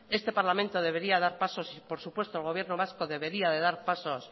este parlamento debería dar paso y por supuesto el gobierno vasco debería de dar pasos